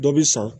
Dɔ bi san